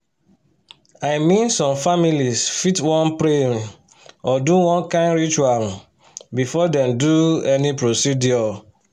i mean some families fit wan pray um or do one kind ritual um before dem do any procedure.